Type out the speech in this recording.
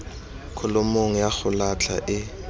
kholomong ya go latlha e